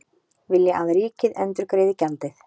Vilja að ríkið endurgreiði gjaldið